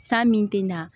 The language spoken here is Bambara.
San min tɛ na